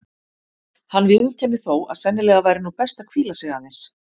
Hann viðurkennir þó að sennilega væri nú best að hvíla sig aðeins.